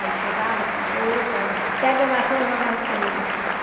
Aí chegava com a louça, ela... Pegue a vassoura, vai varrer o terreiro.